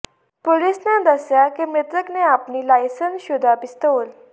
police ਨੇ ਦੱਸਿਆ ਕਿ ਮ੍ਰਿਤਕ ਨੇ ਆਪਣੀ ਲਾਇਸੰਸਸ਼ੁਦਾ ਪਿਸਤੌਲ